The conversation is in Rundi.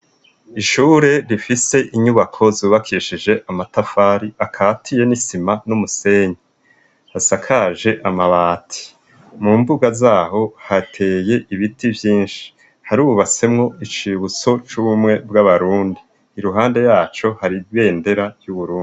Ishure rifise inyubako zubakishije amatafari akatiye n'isima n'umusenyi, hasakaje amabati. Mu mbuga zaho hateye ibiti vyinshi harubasemo icibutso c'ubumwe bw'abarundi iruhande yaco hari bendera y'uburundi.